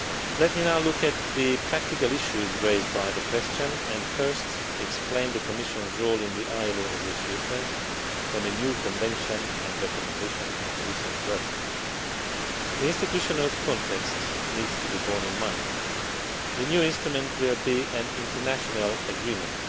Let me now look at the practical issues raised by the question and first explain the Commission's role in the ILO negotiations on a new convention and recommendation on decent work. The institutional context needs to be borne in mind. The new instrument will be an international agreement.